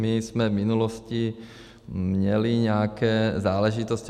My jsme v minulosti měli nějaké záležitosti.